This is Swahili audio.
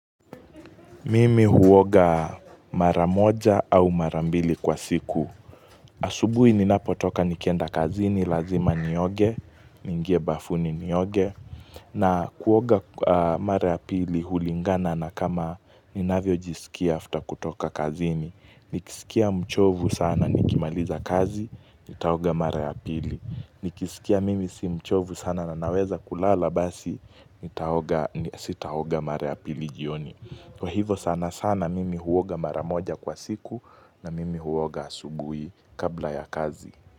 Mimi huoga maramoja au marambili kwa siku asubuhi ni napotoka nikienda kazini lazima nioge niingie bafuni nioge na kuoga mara ya pili hulingana na kama ninavyo jisikia after kutoka kazini Nikisikia mchovu sana nikimaliza kazi Nitaoga mara ya pili Nikisikia mimi si mchovu sana na naweza kulala Basi sitaoga mara ya pili jioni Kwa hivo sana sana mimi huoga maramoja kwa siku na mimi huoga asubui kabla ya kazi.